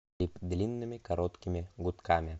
клип длинными короткими гудками